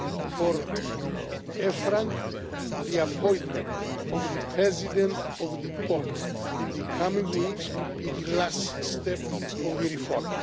For EFRAG, the appointment of the President of the Board in the coming weeks will be the last step of the reform.